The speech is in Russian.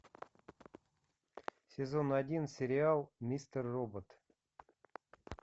сезон один сериал мистер робот